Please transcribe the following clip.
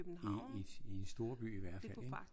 I i storbyen i hvert fald ik?